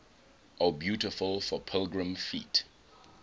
o beautiful for pilgrim feet